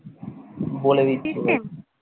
বলে দিচ্ছি দারা